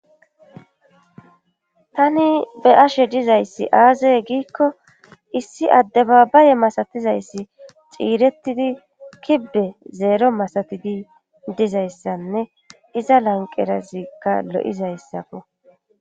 Tani be ashe dizayssi aazaye giikko issi adde babaye masatizayssi xiirettidi kibbe zeero masatidi dizayssanne iza lanqerazikka lo'izayssafo